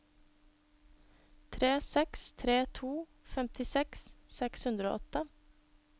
tre seks tre to femtiseks seks hundre og åtte